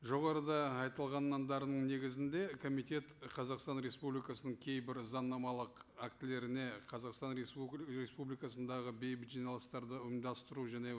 жоғарыда негізінде комитет қазақстан республикасының кейбір заңнамалық актілеріне қазақстан республикасындағы бейбіт жиналыстарды ұйымдастыру және